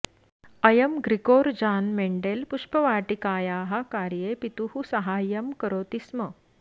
अयं Gregor Johann Mendel पुष्पवाटिकायाः कार्ये पितुः साहाय्यं करोति स्म